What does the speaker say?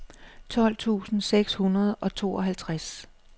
tolv tusind seks hundrede og tooghalvtreds